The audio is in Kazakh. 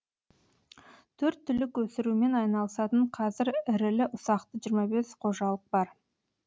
төрт түлік өсірумен айналысатын қазір ірілі ұсақты жиырма бес қожалық бар